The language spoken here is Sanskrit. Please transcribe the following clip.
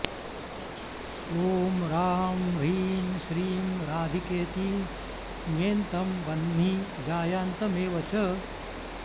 ॐ रां ह्रीं श्रीं राधिकेति ङेन्तं वह्नि जायान्तमेव च